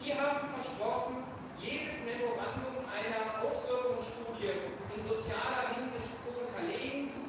Sie haben versprochen, jedes Memorandum einer Auswirkungsstudie in sozialer Hinsicht zu unterlegen.